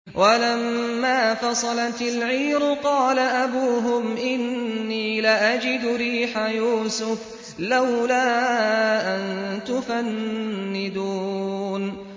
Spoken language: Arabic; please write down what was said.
وَلَمَّا فَصَلَتِ الْعِيرُ قَالَ أَبُوهُمْ إِنِّي لَأَجِدُ رِيحَ يُوسُفَ ۖ لَوْلَا أَن تُفَنِّدُونِ